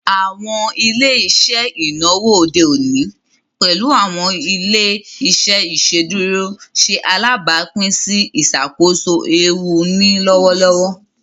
Awọn ile-iṣẹ inawo ode oni, pẹlu awọn ile-iṣẹ iṣeduro, ṣe alabapin si iṣakoso eewu ni lọwọlọwọ.